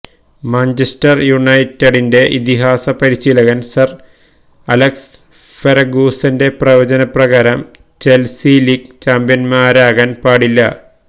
Manchester യുനൈറ്റഡിന്റെ ഇതിഹാസ പരിശീലകന് സര് അലക്സ് ഫെര്ഗൂസന്റെ പ്രവചനപ്രകാരം ചെല്സി ലീഗ് ചാമ്പ്യന്മാരാകാന് പാടില്ല